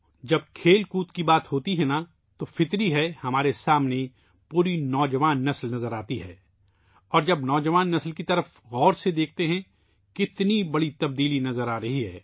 جب کھیلوں کی بات آتی ہے تو یہ فطری بات ہے کہ پوری نوجوان نسل ہمارے سامنے نظر آتی ہے اور جب ہم نوجوان نسل کو قریب سے دیکھتے ہیں تو کتنی بڑی تبدیلی نظر آتی ہے